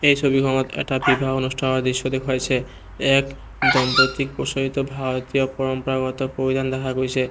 এই ছবিখনত এটা বিবাহ অনুষ্ঠানৰ দৃশ্য দেখুৱাইছে ইয়াত দম্পতীক প্ৰচলিত ভাৰতীয় পৰম্পৰাগত পৰিধান দেখা গৈছে।